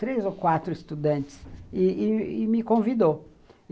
três ou quatro estudantes, e e me convidou.